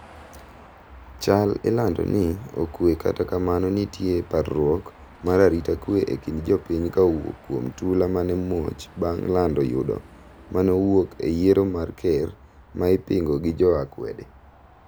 chal ilando ni okwe kata kamano nitie parruok mar arita kwe e kind jopiny ka owuok kuom tula maneomuoch bang' lando yudo maneowuok e yiero mar ker ma ipingo gi jo akwede